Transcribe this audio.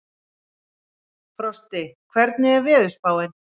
Frosti, hvernig er veðurspáin?